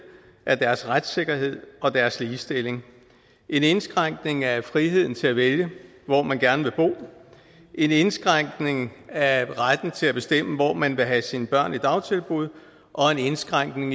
af deres retssikkerhed og af deres ligestilling en indskrænkning af friheden til at vælge hvor man gerne vil bo en indskrænkning af retten til at bestemme hvor man vil have sine børn i dagtilbud og en indskrænkning